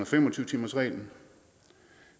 fem og tyve timersreglen